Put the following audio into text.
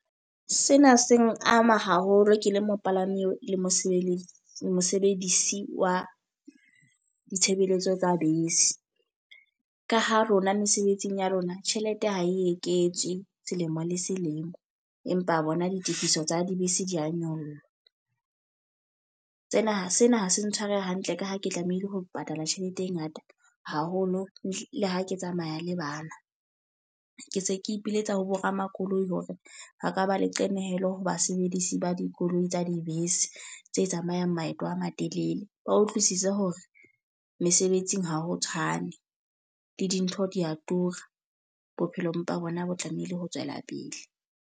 Sena seng ama haholo ke le mopalami le mosebeledisi mosebedisi wa ditshebeletso tsa bese. Ka ha rona mesebetsing ya rona, tjhelete ha e eketswe selemo le selemo. Empa bona ditifiso tsa dibese di a nyoloha. Tsena, sena ha se ntshware hantle ka ha ke tlamehile ho patala tjhelete e ngata haholo ehlile ha ke tsamaya le bana. Ke se ke ipiletsa ho bo ramakoloi hore ba ka ba le qenehelo ho basebedisi ba dikoloi tsa dibese tse tsamayang maeto a matelele. Ba utlwisise hore mesebetsing ha ho tshwane. Le dintho di a tura. Bophelo bona empa bo tlamehile ho tswela pele.